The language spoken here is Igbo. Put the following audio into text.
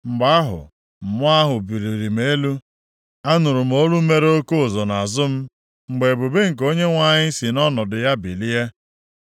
Mgbe ahụ, Mmụọ ahụ buliri m elu. Anụrụ m olu mere oke ụzụ nʼazụ m, mgbe ebube nke Onyenwe anyị sị nʼọnọdụ ya bilie.